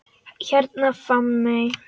Hérna Hafmey.